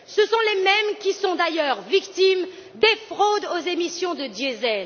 Ce sont les mêmes qui sont d'ailleurs victimes des fraudes aux émissions de diesel.